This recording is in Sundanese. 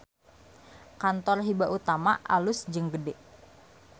Kantor Hiba Utama alus jeung gede